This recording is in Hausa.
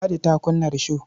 Ladi ta kunna risho.